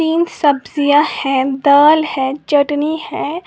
तीन सब्जियां हैं दाल है चटनी है।